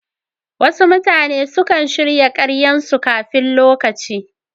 Wasu mutane sukan shirya karyan su kafin lokaci